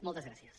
moltes gràcies